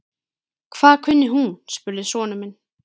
Hvað kunni hún? spurði sonur minn.